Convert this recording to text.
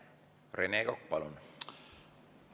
Rene Kokk, palun!